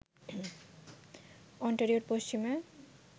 অন্টারিওর পশ্চিমে